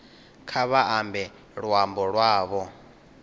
kha vha ambe luambo lwavho